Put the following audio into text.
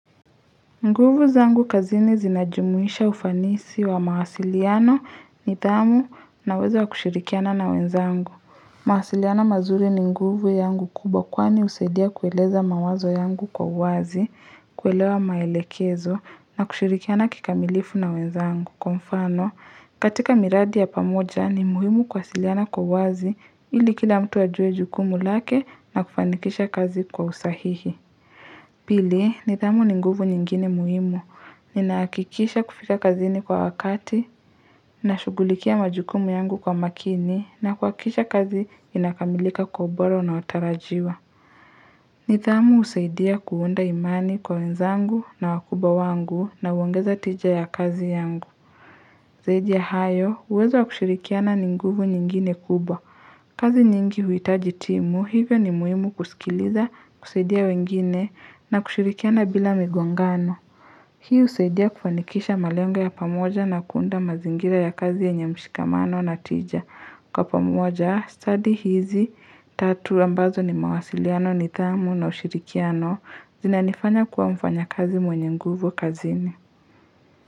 Nguvu zangu kazini zinajumuisha ufanisi wa mawasiliano ni tamu na uwezo wa kushirikiana na wenzangu. Mawasiliano mazuri ni nguvu yangu kubwa kwani usaidia kueleza mawazo yangu kwa wazi, kuelewa maelekezo na kushirikiana kikamilifu na wenzangu. Kwa mfano, katika miradi ya pamoja ni muhimu kuwasiliana kwa uwazi ili kila mtu ajuwe jukumu lake na kufanikisha kazi kwa usahihi. Pili, nithamu ni nguvu nyingine muhimu, ninakikisha kufika kazini kwa wakati, na shugulikia majukumu yangu kwa makini, na kuakisha kazi inakamilika kwa ubora unawotarajiwa nithamu usaidia kuunda imani kwa wenzangu na wakubwa wangu na uongeza tija ya kazi yangu zaidi ya hayo uwezo wa kushirikiana ni nguvu nyingine kubwa kazi nyingi huitaji timu hivyo ni muhimu kusikiliza kuseidia wengine na kushirikiana bila migongano hii usaidia kufanikisha malengo ya pamoja na kuunda mazingira ya kazi yenye mshikamano na tija kwa pamoja study hizi tatu ambazo ni mawasiliano nithamu na ushirikiano zinanifanya kuwa mfanya kazi mwenye nguvu kazini.